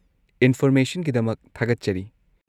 ꯏꯟꯐꯣꯔꯃꯦꯁꯟꯒꯤꯗꯃꯛ ꯊꯥꯒꯠꯆꯔꯤ꯫